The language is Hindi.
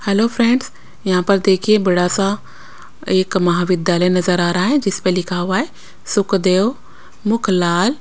हेलो फ्रेंड्स यहाँ पर देखिए बड़ा सा एक महाविद्यालय नजर आ रहा है जिस पर लिखा हुआ है सुखदेव मुख लाल।